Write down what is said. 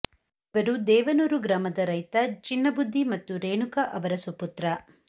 ಇವರು ದೇವನೂರು ಗ್ರಾಮದ ರೈತ ಚಿನ್ನಬುದ್ಧಿ ಮತ್ತು ರೇಣುಕ ಅವರ ಸುಪುತ್ರ